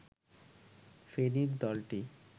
ফেনীর দলটি